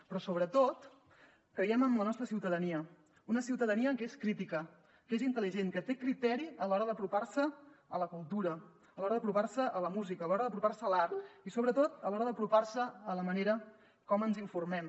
però sobretot creiem en la nostra ciutadania una ciutadania que és crítica que és intel·ligent que té criteri a l’hora d’apropar se a la cultura a l’hora d’apropar se a la música a l’hora d’apropar se a l’art i sobretot a l’hora d’apropar se a la manera com ens informem